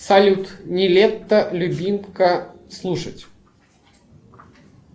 салют нилетто любимка слушать